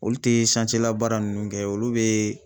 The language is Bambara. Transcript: Olu te sance labaara nunnu kɛ olu be